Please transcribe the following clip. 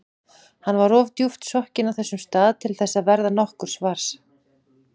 Hann var of djúpt sokkinn á þessum stað til þess að verða nokkurs var.